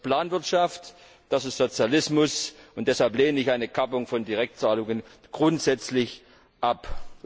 Das ist Planwirtschaft, das ist Sozialismus, und deshalb lehne ich eine Kappung von Direktzahlungen grundsätzlich ab.